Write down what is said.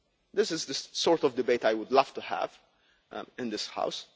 this is the sort of debate I would love to have in this